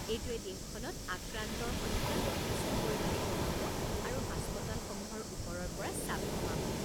এইটোৱে দেশখনত আক্ৰান্তাৰ সংখ্যা যথেষ্ট পৰিমাণে কমাব আৰু হাস্পতালসমূহৰ ওপৰৰ পৰা চাপ কমাব।